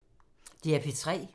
DR P3